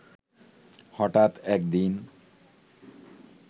হঠাৎ একদিন